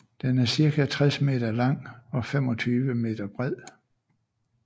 Den er cirka 60 meter lang og 25 meter bred